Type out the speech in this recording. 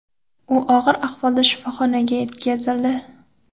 U og‘ir ahvolda shifoxonaga yetkazildi.